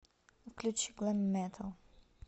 включи глэм метал